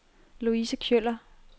Louise Kjøller